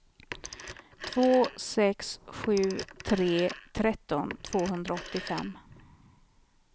två sex sju tre tretton tvåhundraåttiofem